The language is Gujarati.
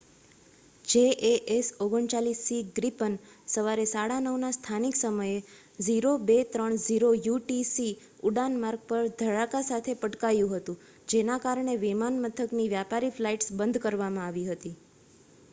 jas 39c ગ્રીપન સવારે 9:30 ના સ્થાનિક સમયે 0230 યુટીસી ઉડાન-માર્ગ પર ધડાકા સાથે પટકાયું હતું જેના કારણે વિમાન મથકની વ્યાપારી ફ્લાઈટ્સ બંધ કરવામાં આવી હતી